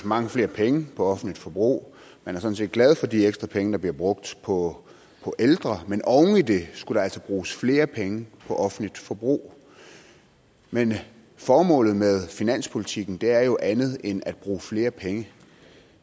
mange flere penge på offentligt forbrug man er sådan set glad for de ekstra penge der bliver brugt på ældre men oven i det skal der altså bruges flere penge på offentligt forbrug men formålet med finanspolitikken er jo andet end at bruge flere penge